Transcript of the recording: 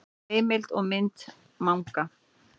Heimild og mynd Manga.